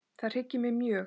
Það hryggir mig mjög.